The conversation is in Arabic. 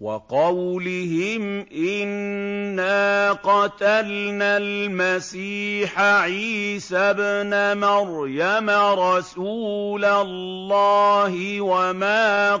وَقَوْلِهِمْ إِنَّا قَتَلْنَا الْمَسِيحَ عِيسَى ابْنَ مَرْيَمَ رَسُولَ اللَّهِ وَمَا